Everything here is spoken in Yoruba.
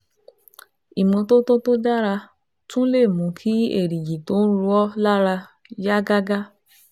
Ìmọ́tótó tó dára tún lè mú kí èrìgì tó ń ro ọ́ lára yá gágá